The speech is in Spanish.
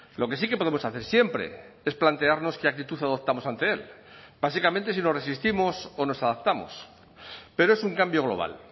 lo que sí que podemos hacer siempre es plantearnos que actitud adoptamos ante él básicamente si nos resistimos o nos adaptamos pero es un cambio global